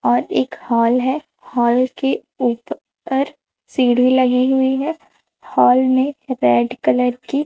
और एक हाल है हाल के ऊ पर सिढी लगी हुई है हाल में रेड कलर की--